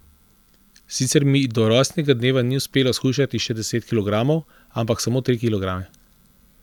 Sicer mi do rojstnega dneva ni uspelo shujšati še deset kilogramov, ampak samo tri kilograme.